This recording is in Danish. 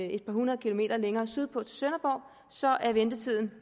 et par hundrede kilometer længere sydpå til sønderborg så er ventetiden